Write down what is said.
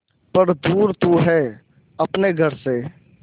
पर दूर तू है अपने घर से